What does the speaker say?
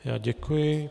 Já děkuji.